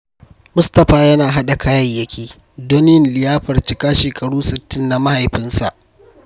Mustapha yana haɗa kayayyaki don yin liyafar cika shekaru 60 na mahaifinsa.